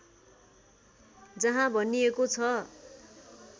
जहाँ भनिएको छ